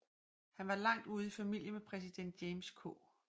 Han var langt ude i familie med præsident James K